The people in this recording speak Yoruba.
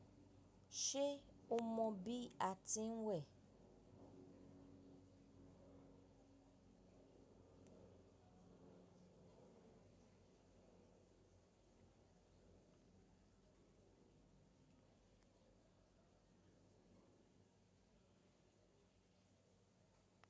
Ṣé o mọ bí a ti ń wẹ̀?